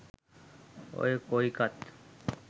ඔය කොයිකත්